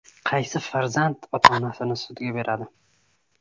Qaysi farzand ota-onasini sudga beradi?